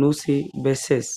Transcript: nusi besesi